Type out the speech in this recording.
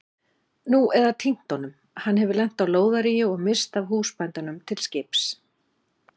Nú eða týnt honum, hann hefur lent á lóðaríi og misst af húsbændunum til skips.